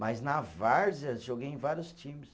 Mas na Várzea, joguei em vários times.